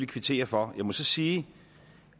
kvittere for jeg må så sige